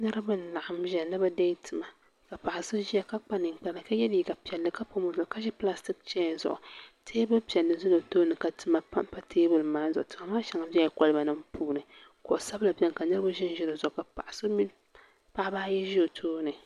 Niriba n laɣim zaya ni bɛ dee tima ka paɣa so ʒia ka kpa ninkpara ka ye liiga piɛlli ka pam o zuɣu ka ʒi pilastiki cheya zuɣu teebuli piɛlli zala o tooni ka tima pampa teebuli maa zuɣu tima maa sheŋa bela koliba nima puuni kuɣu sabinli biɛni ka niriba ʒinʒi di zuɣu paɣaba ayi ʒi o tooni.